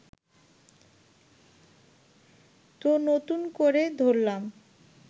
তো নতুন করে ধরলাম